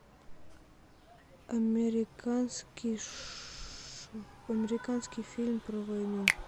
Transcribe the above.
американский фильм про войну